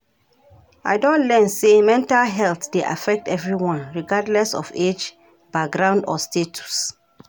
I don learn say mental health dey affect everyone regardless of age, background or status.